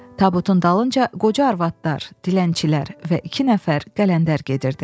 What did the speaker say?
Tabutun dalınca qoca arvadlar, dilənçilər və iki nəfər qələndər gedirdi.